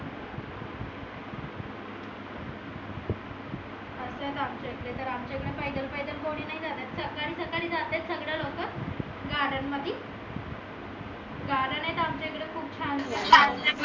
आमच्या इकडे कारन आमच्या इकडे पैदल पैदल कोनी नाई जात सकाळी सकाळी जातेत सगडे लोक garden मधी garden आहेत आमच्या इकड खूप छान छान